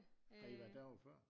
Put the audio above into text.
Har I været derove før?